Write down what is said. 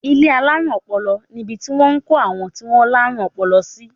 Ilé alárùn ọpọlọ nibi tí wọ́n ń kó àwọn tí wọ́n láárùn ọpọlọ sí.